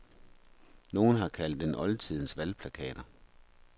Nogen har kaldt dem oldtidens valgplakater.